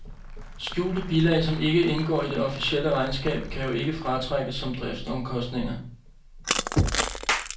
Skjulte bilag, som ikke indgår i det officielle regnskab, kan jo ikke fratrækkes som driftsomkostninger.